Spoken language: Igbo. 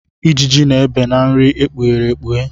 Ijiji na-ebe na nri ekpughere ekpughe.